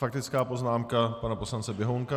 Faktická poznámka pana poslance Běhounka.